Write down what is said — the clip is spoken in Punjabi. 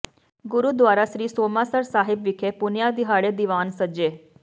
ਗੁਰਦੁਆਰਾ ਸ੍ਰੀ ਸੋਮਾਸਰ ਸਾਹਿਬ ਵਿਖੇ ਪੁੰਨਿਆ ਦਿਹਾੜੇ ਦੀਵਾਨ ਸਜੇ